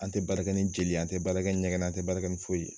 An tɛ baara kɛ ni jeli ye an tɛ baara kɛ ni ɲɛgɛnɛ ye an tɛ baara kɛ ni foyi ye.